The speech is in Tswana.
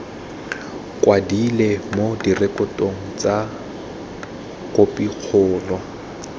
kwadilwe mo direkotong tsa khopikgolo